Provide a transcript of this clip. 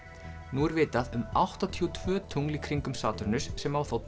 nú er vitað um áttatíu og tvö tungl í kringum Satúrnus sem á þá